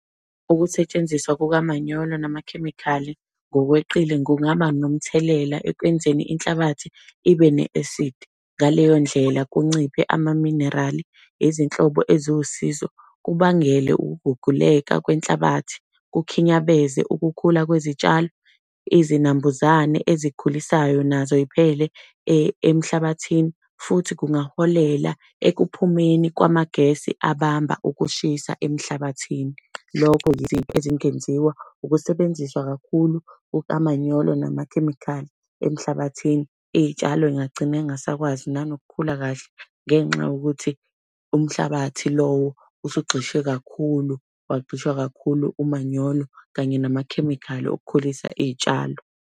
Ukusetshenziswa kukamanyolo namakhemikhali ngokweqile kungaba nomthelela ekwenzeni inhlabathi ibe ne-acid. Ngaleyo ndlela, kunciphe amaminerali, izinhlobo eziwusizo, kubangele ukuguguleka kwenhlabathi, kukhinyabeze ukukhula kwezitshalo. Izinambuzane ezikhulisayo nazo ziphele emhlabathini futhi kungaholela ekuphumeni kwamagesi abamba ukushisa emhlabathini. Lokho izinto ezingeziwa ukusebenziswa kakhulu kukamanyolo namakhemikhali emhlabathini. Iy'tshalo yingagcina zingasakwazi nanokukhula kahle, ngenxa yokuthi umhlabathi lowo usugxishwe kakhulu, wagxishwa kakhulu umanyolo, kanye namakhemikhali okukhulisa iy'tshalo.